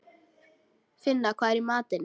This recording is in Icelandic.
Finna, hvað er í matinn?